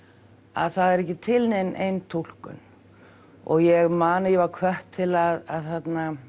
að það er ekki til nein ein túlkun og ég man ég var hvött til að